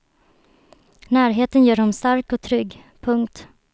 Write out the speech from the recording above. Närheten gör honom stark och trygg. punkt